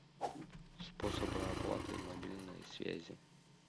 способы оплаты мобильной связи